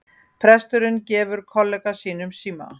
Presturinn gefur kollega sínum síma